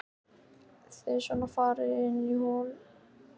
Þið svona farið inn í hollum?